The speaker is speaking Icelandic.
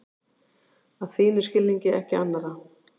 Að þínum skilningi, ekki annarra.